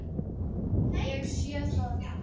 Ég sé það núna!